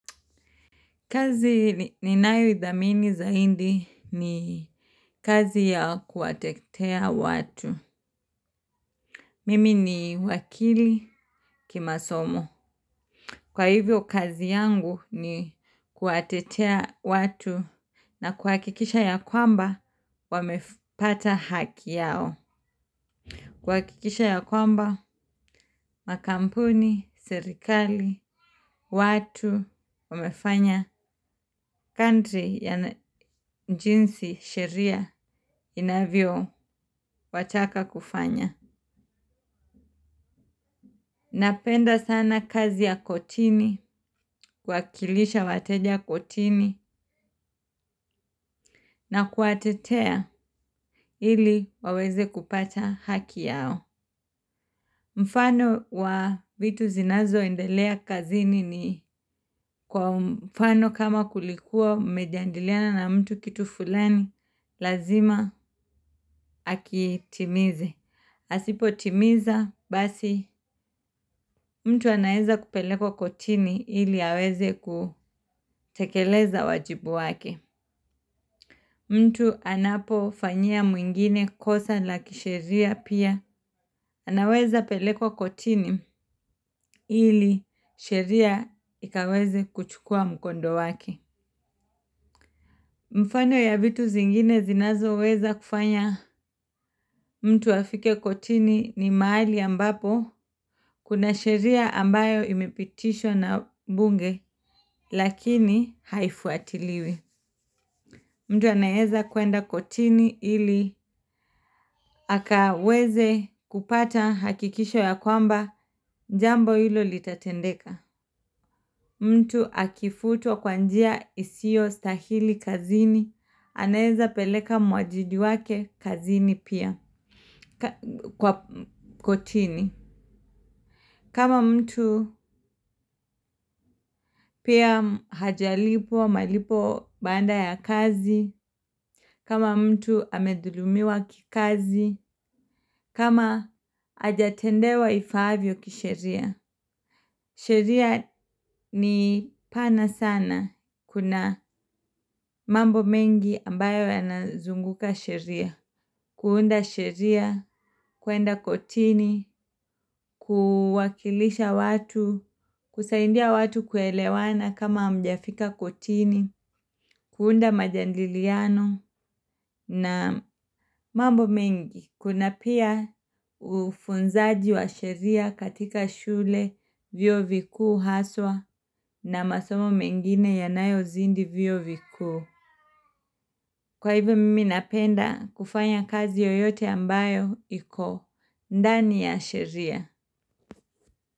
Kazi ninayo idhamini zaidi ni kazi ya kuwatetea watu. Mimi ni wakili kimasomo. Kwa hivyo kazi yangu ni kuwatetea watu na kuhakikisha ya kwamba wamepata haki yao. Kuhakikisha ya kwamba, makampuni, serikali, watu, wamefanya country jinsi sheria inavyo wataka kufanya. Napenda sana kazi ya kotini, kuwakilisha wateja kotini na kuwatetea ili waweze kupata haki yao. Mfano wa vitu zinazo endelea kazini ni kwa mfano kama kulikuwa mmejadiliana na mtu kitu fulani, lazima akitimize. Asipo timiza, basi mtu anaweza kupelekwa kotini ili aweze kutekeleza wajibu wake. Mtu anapo fanyia mtu mwingine kosa la kisheria pia anaweza kupelekwa kotini ili sheria ikaweza kuchua mkondo wake. Mfano ya vitu zingine zinazo weza kufanya mtu afike kotini ni mahali ambapo kuna sheria ambayo imepitishwa na bunge lakini haifuatiliwi. Mtu anaweza kuenda kotini ili akaweze kupata hakikisho ya kwamba jambo hilo litatendeka. Mtu akifutwa kwa njia isio stahili kazini, anaweza peleka mwajidi wake kazini pia kwa kotini. Kama mtu pia hajalipwa malipo baada ya kazi, kama mtu amedhulumiwa kikazi, kama hajatendewa ifaavyo kisheria. Sheria ni pana sana kuna mambo mengi ambayo yanazunguka sheria. Kuunda sheria, kuenda kotini, kuwakilisha watu, kusaidia watu kuelewana kama mjafika kotini, kuunda majadiliano na mambo mengi. Kuna pia ufunzaji wa sheria katika shule vyu vikuu haswa na masomo mengine yanayo zini viyuo vikuu. Kwa hivyo mimi napenda kufanya kazi yoyote ambayo iko, ndani ya sheria.